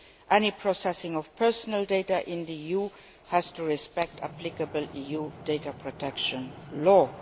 Any processing of personal data in the EU has to respect the applicable EU data protection law.